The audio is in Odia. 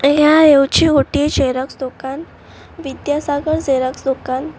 ଏହା ହେଉଛି ଗୋଟିଏ ଜେରକ୍ସ୍ ଦୋକାନ। ବିଦ୍ୟାସାଗର ଜେରକ୍ସ୍ ଦୋକାନ।